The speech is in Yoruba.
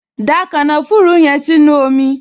Da kànáfùrù yẹn sínú omi!